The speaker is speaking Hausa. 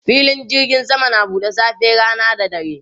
Filin jirgin sama na buɗe safe, rana da dare.